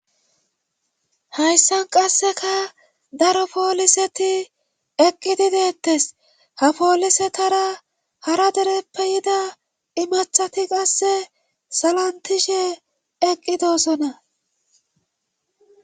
Hayssan qasseka daro pooliseti eqqidideettes ha poolisetara hara dereppe yida imathati qasse salantishe eqqidosona.